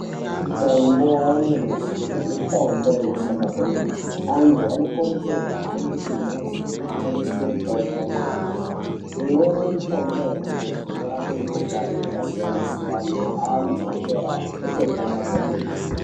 Mitombo yanyamashi mitombo inoshanda kwemene antu anokurudzirwa kuhambe kumbatso inotengesa mitombo yanyamashi imweni yemitombo yanyamashi inorapa mikuhlani yakasiyana-siyana antu otopora kwemene.